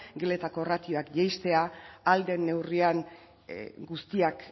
geletako ratioak jaistea ahal den neurrian guztiak